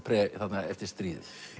þarna eftir stríðið